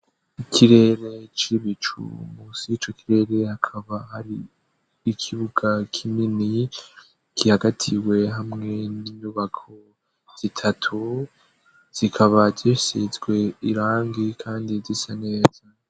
Ikirere cibicu mus y'ico kirere hakaba hari ikibuga k'imini kihagatiwe hamwe n'inyubako zitatu zikaba gisitzwe irangi kandi disa neza.